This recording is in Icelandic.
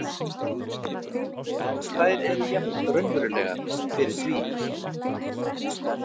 En þær eru jafn raunverulegar fyrir því.